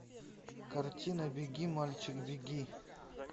картина беги мальчик беги